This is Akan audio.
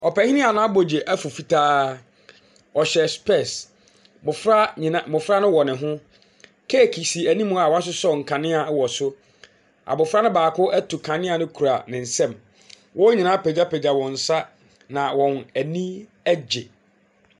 Ɔpanin a n’abodwe afu fitaa, ɔhyɛ spɛɛse. Mmɔfra nyinaa mmɔfra no wɔ ne ho. Keeki si anim a wɔasosɔ nkanea wɔ so. Abɔfra baako atu kanea no kura ne nsam. Wɔn nyinaa apagyapagya wɔn nsa na wɔn ani agye.